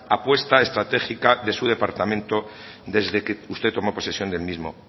apuesta estratégica de su departamento desde que usted tomó posesión del mismo